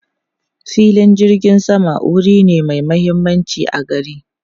Filin jirgin sama wuri ne mai mahimmanci a gari.